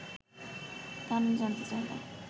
কারণ জানতে চাইলে